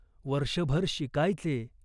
वर्षभर शिकायचे.